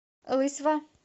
лысьва